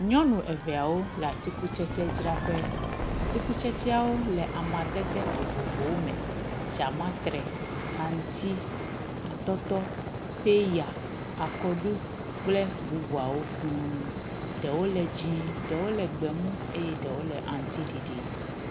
nyɔnu eveawo le atsikutsetsi draƒe atsikutsetsiawo le amadede vovovowo me dzamatre aŋuti atɔtɔ pɛya akɔɖu kple bubuawo fūu ɖewo le dzĩe ɖewo le gbemu ye ɖewo le aŋutiɖiɖi